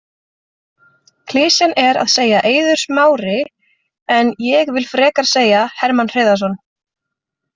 Klisjan er að segja Eiður Smári en ég vill frekar segja Hermann Hreiðarsson.